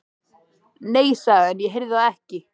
Nei, sagði hann, ég heyrði það ekki.